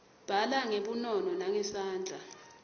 bhala ngebunono nangesandla